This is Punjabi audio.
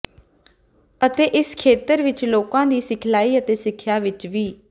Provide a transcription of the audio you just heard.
ਅਤੇ ਇਸ ਖੇਤਰ ਵਿੱਚ ਲੋਕਾਂ ਦੀ ਸਿਖਲਾਈ ਅਤੇ ਸਿੱਖਿਆ ਵਿੱਚ ਵੀ